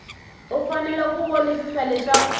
u fanele ku vonisisa leswaku